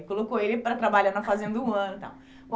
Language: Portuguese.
E colocou ele para trabalhar na Fazenda um ano e tal.